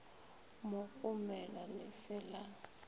mo gomela le se la